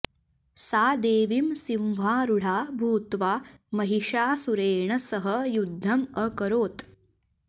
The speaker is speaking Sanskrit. सा देवीं सिंहारुढा भूत्वा महिषासुरेण सह युद्धम् अकरोत्